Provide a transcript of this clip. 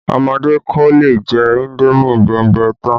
Ọmọdé kò lè jẹ indomi bẹ̀mbẹ̀ tán